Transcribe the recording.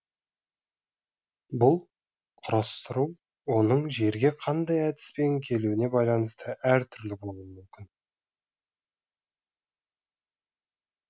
бұл құрастыру оның жерге қандай әдіспен келуіне байланысты әртүрлі болуы мүмкін